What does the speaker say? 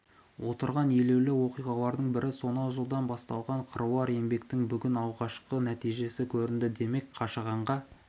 отырған елеулі оқиғалардың бірі сонау жылдан басталған қыруар еңбектің бүгін алғашқы нәтижесі көрінді демек қашағанға